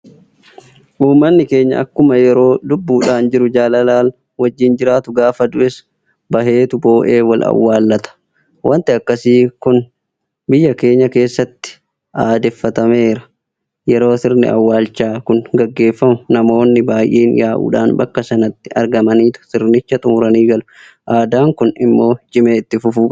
Uummanni keenya akkuma yeroo lubbuudhaan jiru jaalalaan wajjin jiraatu gaafa du'es baheetu boo'ee wal awwaallata. Waanti akkasii kum biyya keenya keessatti aadeffatameera. Yeroo sirni awwaalchaa kun gaggeeffamu namoonni baay'een yaa'uudhaan bakka sanatti argamaniitu sirnicha xummuranii galu. Aadaan kun immoo cimee itti fufuu qaba.